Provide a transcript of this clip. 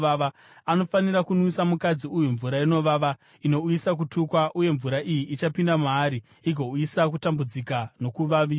Anofanira kunwisa mukadzi uyu mvura inovava, inouyisa kutukwa, uye mvura iyi ichapinda maari igouyisa kutambudzika nokuvaviwa.